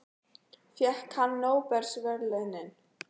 Fékk hann nóbelsverðlaunin?